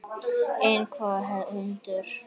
En hvaða hundur?